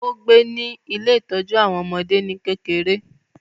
ó gbé ní “ ile ìtọ́jú àwọn ọmọdé ” ní kékeré.